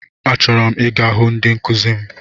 Achọrọ m ịga ịhụ ndị nkụzi m.